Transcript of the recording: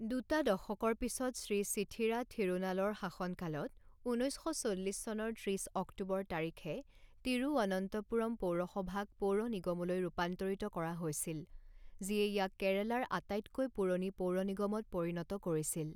দুটা দশকৰ পিছত শ্ৰী চিথিৰা থিৰুনালৰ শাসনকালত, ঊনৈছ শ চল্লিছ চনৰ ত্ৰিছ অক্টোবৰ তাৰিখে তিৰুবনন্তপুৰম পৌৰসভাক পৌৰনিগমলৈ ৰূপান্তৰিত কৰা হৈছিল, যিয়ে ইয়াক কেৰালাৰ আটাইতকৈ পুৰণি পৌৰ নিগমত পৰিণত কৰিছিল।